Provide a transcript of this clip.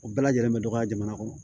O bɛɛ lajɛlen bɛ dɔgɔya jamana kɔnɔ